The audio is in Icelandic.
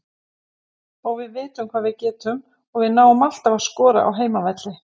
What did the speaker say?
Við vitum hvað við getum og náum alltaf að skora á heimavelli.